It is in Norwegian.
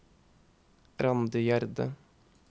Randi Gjerde